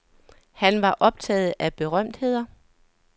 Han var optaget af berømtheder.